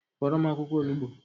Fọrọ m akwụkwọ olugbo